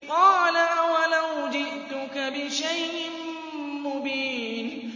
قَالَ أَوَلَوْ جِئْتُكَ بِشَيْءٍ مُّبِينٍ